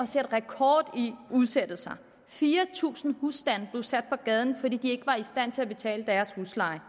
sætte rekord i udsættelser fire tusind husstande blev sat på gaden fordi de ikke var i stand til at betale deres husleje